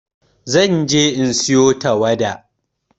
Zan je in sayo tawada.